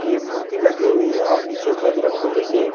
ये मूर्ति लगे हुए हे और नीचे बजरंग बलि के--